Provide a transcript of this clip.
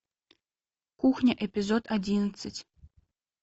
кухня эпизод одиннадцать